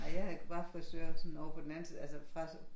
Ej jeg har var frisør sådan ovre på den anden side altså fra